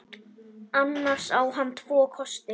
Annars á hann tvo kosti.